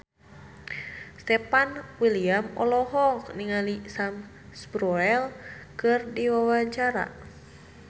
Stefan William olohok ningali Sam Spruell keur diwawancara